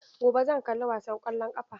Gobe zan kalla wasan ƙwallon ƙafa.